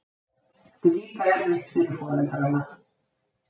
Þetta er líka erfitt fyrir foreldrana.